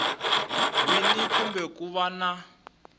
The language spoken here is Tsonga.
wini kumbe ku va na